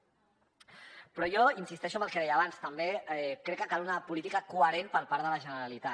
però jo insisteixo en el que deia abans també crec que cal una política coherent per part de la generalitat